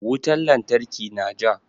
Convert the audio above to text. Wutan lantarki na ja.